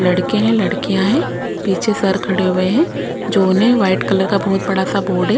लड़के हैं लड़कियां हैं पीछे सर खड़े हुए हैं जो उन्हें व्हाइट कलर का बहुत बड़ा सा बोर्ड है।